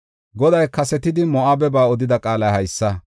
Goday kasetidi Moo7abeba odida qaalay haysa.